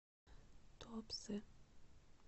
туапсе